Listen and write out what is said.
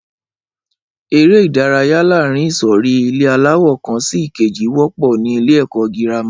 Ẹré ìdárayá láàárín ìsòrí ilé aláwò kan sí ìkejì wọ́pọ̀ ní ilé ẹ̀kọ́ girama